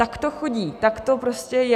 Tak to chodí, tak to prostě je.